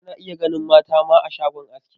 Ana iya ganin mata ma a shagon aski.